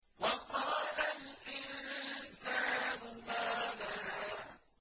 وَقَالَ الْإِنسَانُ مَا لَهَا